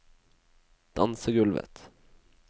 dansegulvet